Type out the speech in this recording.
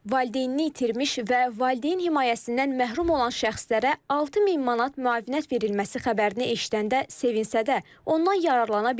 Valideynini itirmiş və valideyn himayəsindən məhrum olan şəxslərə 6000 manat müavinət verilməsi xəbərini eşidəndə sevinsə də, ondan yararlana bilməyib.